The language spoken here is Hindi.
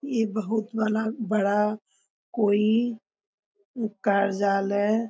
इ बहुत बला बड़ा कोई कार्यालय --